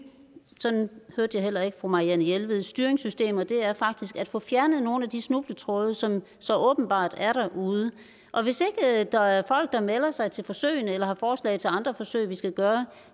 sådan hørte jeg heller ikke fru marianne jelved styringssystemer det er faktisk at få fjernet nogle af de snubletråde som så åbenbart er derude og hvis ikke der er folk der melder sig til forsøgene eller har forslag til andre forsøg vi skal gøre